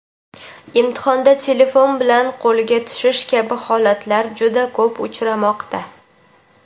imtihonda telefon bilan qo‘lga tushish kabi holatlar juda ko‘p uchramoqda.